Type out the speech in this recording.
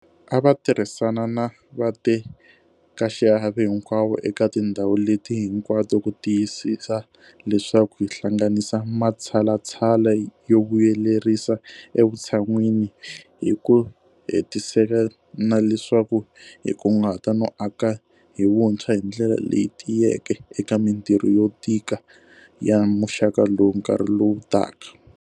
A va tirhisana na vatekaxiave hinkwavo eka tindhawu leti hinkwato ku tiyisisa leswaku hi hlanganisa matshalatshala yo vuyelerisa evutshan'wini hi ku hetiseka na leswaku hi kunguhata no aka hi vuntshwa hi ndlela leyi tiyeke eka mitirho yo tika ya muxaka lowu nkarhi lowu taka.